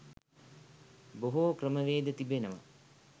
බොහෝ ක්‍රමවේද තිබෙනවා.